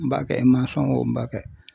N b'a kɛ wo n b'a kɛ